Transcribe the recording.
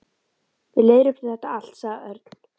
Við leiðréttum þetta allt, sagði Örn.